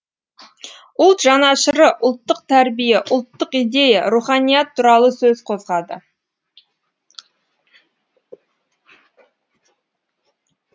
ұлт жанашыры ұлттық тәрбие ұлттық идея руханият туралы сөз қозғады